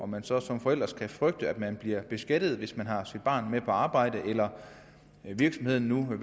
man så som forælder skal frygte at man bliver beskattet hvis man har sit barn med på arbejde eller hvis virksomheden